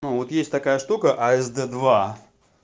ну вот есть такая штука асд-два